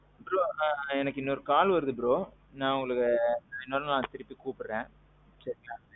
bro எனக்கு இன்னொரு call வருது bro. நான் உங்களுக்கு இன்னொரு நாள் திருப்பி கூப்புடுறேன். சரிங்களா.